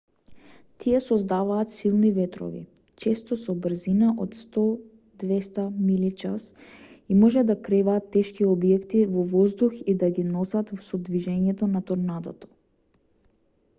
тие создаваат силни ветрови често со брзина од 100-200 милји/час и може да креваат тешки објекти во воздух и да ги носат со движењето на торнадото